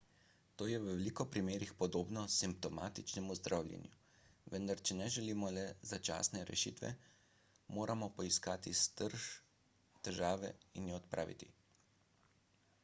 to je v veliko primerih podobno simptomatičnemu zdravljenju vendar če ne želimo le začasne rešitve moramo poiskati srž težave in jo odpraviti